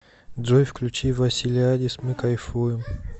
джой включи василиадис мы кайфуем